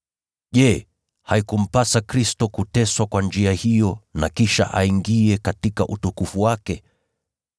Je, haikumpasa Kristo kuteswa kwa njia hiyo na kisha aingie katika utukufu wake?”